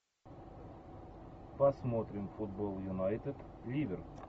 посмотрим футбол юнайтед ливер